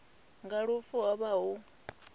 nga lufu ho vha hu